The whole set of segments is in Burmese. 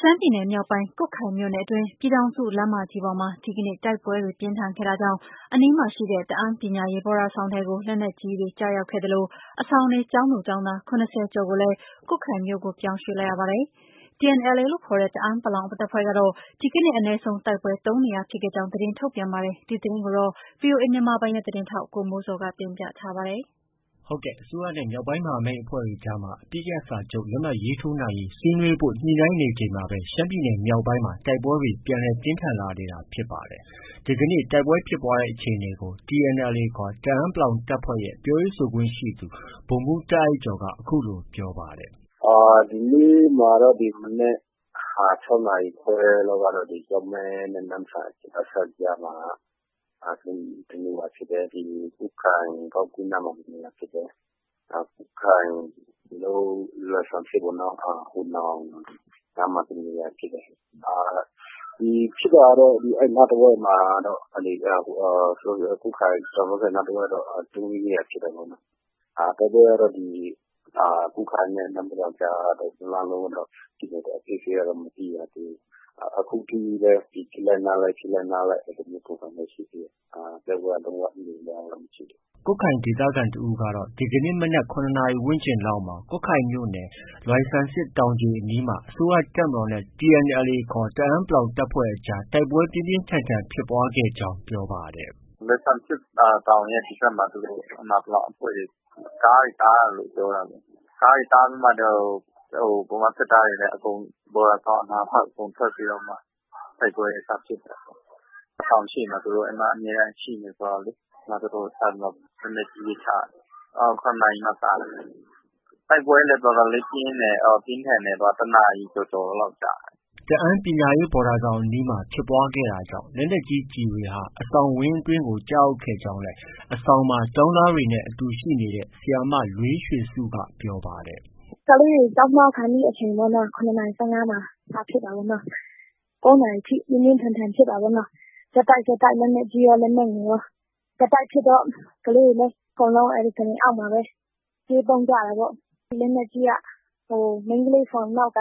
ရှမ်းပြည်နယ် မြောက်ပိုင်း ကွတ်ခိုင်မြို့နယ်အတွင်း ပြည်ထောင်စုလမ်းမပေါ်မှာ ဒီကနေ့ တိုက်ပွဲပြင်းထန်ခဲ့တာကြောင့် အနီးမှာရှိတဲ့ တအာင်းပညာရေးဘော်ဒါဆောင်ဘက်ကို လက်နက်ကြီး ကျည်တွေ ကျရောက်ခဲ့သလို အဆောင်နေ ကျောင်းသူ၊ ကျောင်းသား ၇၀ကျော်ကိုလည်း ကွတ်ခိုင်မြို့ကို ပြောင်းရွှေ့လိုက်ရပါတယ်။ TNLA ခေါ် တအာင်းပလောင် တပ်ဖွဲ့ကတော့ ဒီကနေ့ အနည်းဆုံး တိုက်ပွဲ ၃နေရာဖြစ်ခဲ့ကြောင်း သတင်းထုတ်ပြန်ပါတယ်။ ဒီသတင်းကို ဗွီအိုအေမြန်မာပိုင်းရဲ့ သတင်းထောက် ကိုမိုးဇော်က တင်ပြထားပါတယ်။ အစိုးရနဲ့ မြောက်ပိုင်းမဟာမိတ်အဖွဲ့တွေအကြားမှာ အပစ်ရပ်စာချုပ် လက်မှတ်ရေးထိုးရေး ဆွေးနွေးဖု့ိ ညှိနှိုင်းနေချိန်မှာပဲ ရှမ်းပြည်နယ် မြောက်ပိုင်းမှာ တိုက်ပွဲတွေ ပြန်လည် ပြင်းထန်လာနေတာဖြစ်ပါတယ်။ ဒီကနေ့ တိုက်ပွဲဖြစ်ပွားတဲ့ အခြေအနေကို TNLA ခေါ် တအာင်းပလောင် တပ်ဖွဲ့ရဲ့ ပြောရေးဆိုခွင့်ရှိသူ ဗိုလ်မှူး တာအိုက်ကျော်က အခုလို ပြောပါတယ်။ “ ဒီနေ့မှာတော့ ဒီမနက် ၆နာရီခွဲလောက်ကတော့ ကျောက်မဲနဲ့ နမ့်ဆန် အစပ်ကြားမှာ တစ်နေရာဖြစ်တယ်။ ကွတ်ခိုင် ဂေါက်ကွင်းနားမှာ တစ်နေရာဖြစ်တယ်။ ကွတ်ခိုင်လွိုင်ဆမ်ဆစ်ပေါ့နော်။ ဟိုနောင်ရွာနားမှာ တစ်နေရာဖြစ်တယ်။ ဖြစ်တာကတော့ အဲဒီနားတဝိုက်မှာကတော့ ကွတ်ခိုင်၊ ကျောက်မဲဘက်နားတဝိုက်မှာတော့ ၃- ၄ နေရာဖြစ်တယ်။ တိုက်ပွဲကတော့ ဒီ ကွတ်ခိုင်နဲ့ နမ့်ဖတ်ကာကြားကတော့ တစ်လမ်းလုံးဖြစ်နေတယ်။ အသေးစိတ်တော့ မသိရသေးဘူး။ အခုထိလည်း ဖြစ်လိုက်နားလိုက်။ ဖြစ်လိုက်နားလိုက် အဲလိုမျိုးပုံစံပဲရှိတယ်။ တိုက်ပွဲက လုံး၀ ငြိမ်သွားတာတော့ မရှိသေးဘူး။” ကွတ်ခိုင်ဒေသခံ တဦးကတော့ ဒီကနေ့ မနက် ၇ နာရီဝန်းကျင်လောက်မှာ ကွတ်ခိုင်မြို့နယ်၊ လွိုင်ဆမ်ဆစ် တောင်ခြေအနီးမှာ အစိုးရ တပ်မတော်နဲ့ TNLA ခေါ် တအာင်းပလောင် တပ်ဖွဲ့အကြား တိုက်ပွဲပြင်းပြင်း ထန်ထန် ဖြစ်ပွားခဲ့ကြောင်း ပြောပါတယ်။ “လွိုင်ဆမ်ဆစ်တောင်ရဲ့ ဒီဘက်မှာ အဲဒီမှာ ပလောင်အဖဲ့ွတွေ ကားတွေကို တားတယ်လို့ ပြောတာပဲ။ ကားတွေတားပြီးမှ ဗမာစစ်သားတွေလည်း အကုန် ဘော်ဒါဆောင်အနားမှာ အကုန်ထွက်ပြီးတော့မှ တိုက်ပွဲစဖြစ်တာ။ အဆောင်ရှေ့မှာ သူတို့ အမြဲတမ်းရှိနေတာဆိုတော့လေ။ အဲဒီမှာ သူတို့ စပြီးတော့မှ လက်နက်ကြီးတွေ ချတယ်။ ၇နာရီမှာ စတယ်။ တိုက်ပွဲကလည်း တော်တော်လေး ပြင်းထန်တယ် ၁နာရီကျော်လောက်ကြာတယ်။ ” တအန်းပညာရေးဘော်ဒါဆောင်အနီးမှာ ဖြစ်ပွားခဲ့တာကြောင့်လက်နက်ကြီး ကျည်တွေ အဆောင်ဝင်းထဲ ကျရောက်ခဲ့ကြောင်းလည်း အဆောင်မှာ ကျောင်းသားတွေနဲ့ အတူရှိနေတဲ့ ဆရာမ လွေးရွှေစုက ပြောတယ်။ “ ကလေးတွေ ကျောင်းသွားခါနီးအချိန်ပေါ့။ ၇နာရီ ၁၅မှာ စဖြစ်တာ။ ၉နာရီထိ ပြင်းပြင်းထန်ထန် ဖြစ်တာပေါ့နော်။ ဆက်တိုက် ဆက်တိုက် လက်နက်ကြီးရော လက်နက်ငယ်ရော။ ဆက်တိုက်ဖြစ်တော့ ကလေးတွေလည်း အကုန်လုံး ကုတင်အောက်မှာပဲ ပြေးပုန်းကြတာပေါ့။ လက်နက်ကြီးက မိန်းကလေးဆောင်နောက်က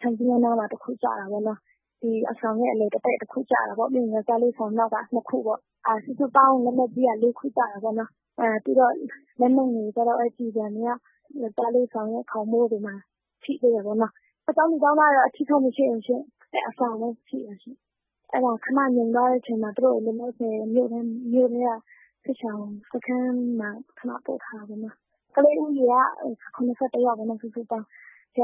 ခြံစည်းရိုးနားမှာ တစ်ခု ကျတာပေါ့။ အဆောင်ရဲ့ အလယ်တည့်တည့် တစ်ခုကျတာပေါ့။ ပြီးရင် ယောက်ျားလေး အဆောင်နောက်က ၂ခုကျတာပေါ့။ စုစုပေါင်း လက်နက်ကြီးက ၄ခု ကျတာပေါ့။ ပြီးတော့ လက်နက်ငယ် ကျည်ဆံတွေက ယောက်ျားလေးဆောင်ရဲ့ ခေါင်မိုးတွေ ထိသေးတယ်ပေါ့။ ကျောင်းသူ ကျောင်းသားတွေတော့ အထိအခိုက် မရှိဘူးရှင့်။ အဆောင်ပဲ ထိတာရှင့်။ ခဏငြိမ်သွားတဲ့အချိန်မှာ သူတို့ကို လောလောဆည် မြို့ထဲက စစ်ရှောင်စခန်းမှာ ခဏ ပို့ထားတာပေါ့နော်။ ကလေးဦးရေက ၇၁ယောက်။ ဆရာ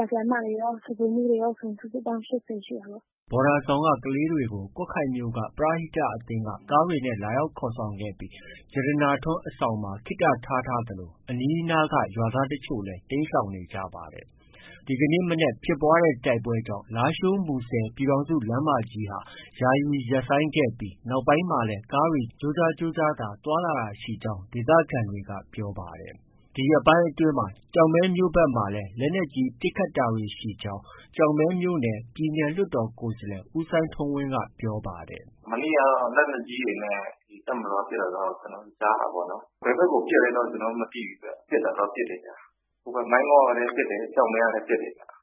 ၊ ဆရာမတွေရော၊ စားဖိုမှူးတွေရောဆို ၈၀ရှိတာပေါ့။” ဘော်ဒါဆောင်က ကလေးတွေကို ကွတ်ခိုင်မြို့ က ပရဟိတ အသင်းက ကားတွေနဲ့ လာရောက်ခေါ်ဆောင်ပြီး ရတနာထွန်းအဆောင်မှာ ခေတ္တ ထားထားသလို အနီးအနားက ရွာသားအချို့လည်း တိမ်းရှောင်နေကြပါတယ်။ ဒီကနေ့ မနက် ဖြစ်ပွားတဲ့ တိုက်ပွဲတွေကြောင့် လားရှိုး- မူဆယ် ပြည်ထောင်စုလမ်းမကြီးဟာ ယာယီ ရပ်ဆိုင်းခဲ့ပြီး နောက်ပိုင်းမှာလည်း ကားတွေကြိုးကြား ကြိုးကြားသာ သွားလာတာရှိကြောင်း ဒေသခံတွေက ပြောပါတယ်။ ဒီရက်ပိုင်းအတွင်း ကျောက်မဲမြို့ဘက်မှာလည်း လက်နက်ကြီး ပစ်ခတ်တာတွေ ရှိကြောင်း ကျောက်မဲမြို့နယ် ပြည်နယ်လွှတ်တော်ကိုယ်စားလှယ် ဦးစိုင်းထွန်းဝင်းက ပြောပါတယ်။ “ မနေ့ကတော့ တပ်မတော်ကနေ လက်နက်ကြီးတွေနဲ့ တပ်မတော်က ပစ်တာတော့ ကျနော်တို့ ကြားတာပေါ့နော်။ ဘယ်ဘက်ကိုပစ်တယ်တော့ မသိဘူး။ ကျနော်တို့ ကြားတော့ ကြားတယ်။ မိုင်းငေါ့ကလည်း ပစ်တယ်။ ကျောက်မဲကလည်း ပစ်တယ်ဗျ။”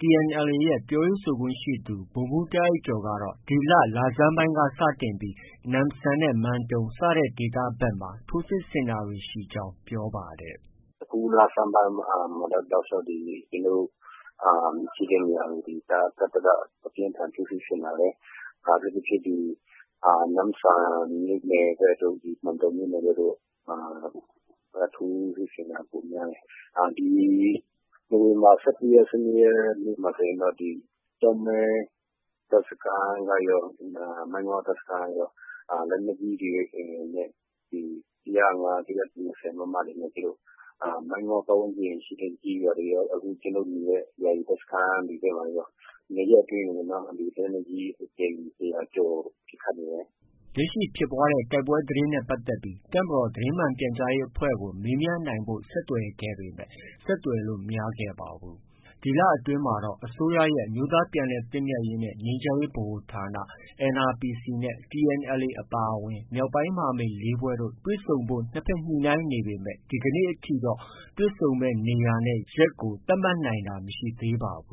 TNLAရဲ့ ပြောရေးဆိုခွင့်ရှိသူ ဗိုလ်မှူး တာအိုက်ကျော်က ဒီလ လဆန်းပိုင်းက စတင်ပြီး နမ့်ဆန်၊ မန်တုံ စတဲ့ ဒေသဘက်မှာ ထိုးစစ်ဆင်တာတွေ ရှိနေကြောင်း ပြောပါတယ်။ “ အခုလဆန်းပိုင်းမှာတော့ တောက်လျောက် ကျနော်တို့ ရှိတဲ့နေရာကို တပ်ဘက်က အပြင်းအထန် ထိုးစစ်ဆင်လာတယ်။ အထူးသဖြင့် ဒီ နမ့်ဆန်မြို့နယ်ဘက်ကတို့၊ မန်တုံမြို့နယ်ဘက်တို့မှာ ထိုးစစ်ဆင်တာ ပိုများတယ်။ ဒီ နိုဝင်ဘာ ၁၁ရက်၊ ၁၂ရက်နေ့မှာဆိုရင်တော့ ကျောက်မဲ တပ်စခန်းကရော၊ မိုင်းငေ့ါ တပ်စခန်းကရော လက်နက်ကြီးတွေနဲ့ ဒီ ၁၀၅။ ၁၂၀ မမတွေနဲ့ မိုင်းငေါ့ပတ်ဝန်းကျင်ရှိ ကျေးရွာတွေရော၊ ကျနော်တို့နေတဲ့ ယာယီတပ်စခန်းတွေဘက်မှာရော၂ရက်အတွင်းကို လက်နက်ကြီး အကြိမ် ၁၀၀ကျော် ပစ်ခတ်နေတယ်။ ” လက်ရှိ ဖြစ်ပွားတဲ့ တိုက်ပွဲသတင်းနဲ့ပတ်သက်ပြီး တပ်မတော် သတင်းမှန်ပြန်ကြားရေး အဖွဲ့ကို မေးမြန်းနိုင်ဖို့ ဆက်သွယ်ခဲ့ပေမဲ့ ဆက်သွယ်လို့ မရခဲ့ပါဘူး။ ဒီလအတွင်းမှာတော့ အစိုးရရဲ့ အမျိုးသားပြန်လည်သင့်မြတ်ရေးနဲ့ ငြိမ်းချမ်းရေးဗဟိုဌာ NRPC နဲ့ TNLA အပါအဝင် မြောက်ပိုင်း မဟာမိတ် ၄ဖွဲ့တို့ တွေ့ဆုံဖို့ နှစ်ဘက်ညှိနှိုင်းနေပေမဲ့ ဒီကနေ့ထိတော့ နေရာနဲ့ ရက်ကို သတ်မှတ်နိုင်တာ မရှိသေးပါဘ